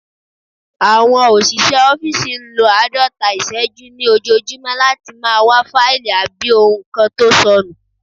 Àwọn òṣìṣẹ́ ọ́fìsì n lo àádọ́ta ìṣẹ́jú ní ojojúmọ́ láti máa wá fáìlì àbí ohun kan tó sọnù